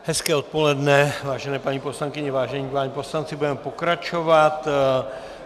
Hezké odpoledne, vážené paní poslankyně, vážení páni poslanci, budeme pokračovat.